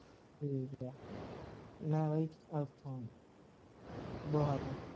ਠੀਕ ਆ ਮੈਂ ਬਈ ਏਥੋਂ ਦੋਹਾਂ ਤੋਂ